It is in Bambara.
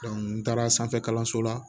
n taara sanfɛ kalanso la